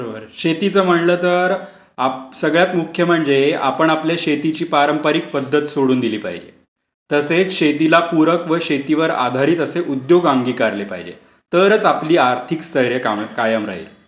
बरोबर आहे, शेतीचं म्हंटलं तर सगळ्यात मुख्य म्हणजे आपण आपल्या शेतीची पारंपरिक पध्दत सोडून दिली पाहिजे. तसेच शेतीला पूरक व शेतीवर आधारित असे उद्योगधंदे अंगिकारले पाहिजेत. तरच आपली आर्थिक स्थैर्य कायम राहिल.